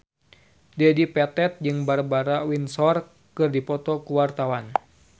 Dedi Petet jeung Barbara Windsor keur dipoto ku wartawan